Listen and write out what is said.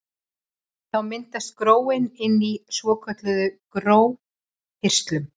Þá myndast gróin inni í svokölluðum gróhirslum.